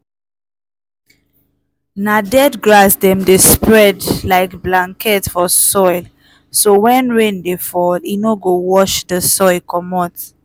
na dead grass dem dey spread like blanket for soil so when rain dey fall e no go wash de soil comot.